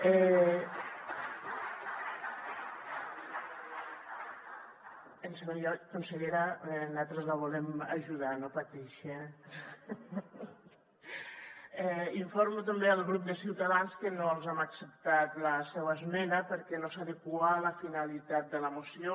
en segon lloc consellera nosaltres la volem ajudar no pateixi eh informo també el grup de ciutadans que no els hem acceptat la seua esmena perquè no s’adequa a la finalitat de la moció